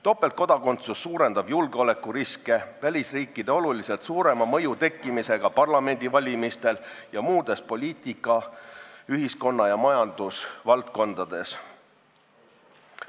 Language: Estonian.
Topeltkodakondsus suurendab julgeolekuriske välisriikide oluliselt suurema mõju tekkimisega parlamendivalimistel ning muudes poliitika-, ühiskonna- ja majandusvaldkondades.